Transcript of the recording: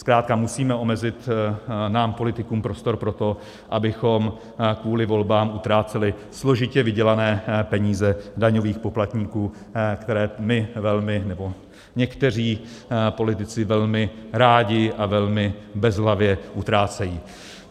Zkrátka musíme omezit nám politikům prostor pro to, abychom kvůli volbám utráceli složitě vydělané peníze daňových poplatníků, které my velmi, nebo někteří politici velmi rádi a velmi bezhlavě utrácejí.